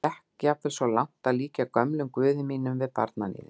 Ég gekk jafnvel svo langt að líkja gömlum guði mínum við barnaníðing.